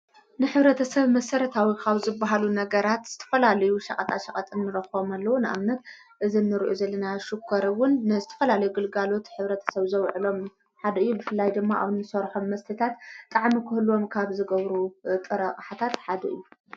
ንሕብረተሰብ መሠረታዊ ካብ ዝብሃሉ ነገራት ዝተፈላለዩ ሸቐጣ ሸቐጥ ንረኽቦም ኣለዉ። ንኣብነት እዚ ንሪኦ ዘልና ሽኮር እውን ንዝትፈላልዩ ግልጋሎት ሕብረተሰብ ዘውዕሎም ሓድ እዩ። ብፍላይ ድማ ኣብንሰርሖም መስተታት ጣዕሚ ክህልዎም ካብ ዝገብሩ ጥረ አቕሓታት ሓደ እዩ።